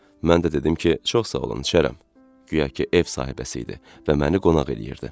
Mən də dedim ki, çox sağ olun, içərəm, guya ki ev sahibəsi idi və məni qonaq eləyirdi.